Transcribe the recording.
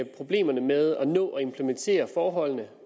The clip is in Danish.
problemerne med at nå at implementere forholdene